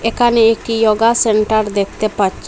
এখানে একটি yoga centre দেখতে পাচ্ছি।